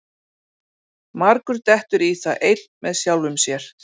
Margur dettur í það einn með sjálfum sér.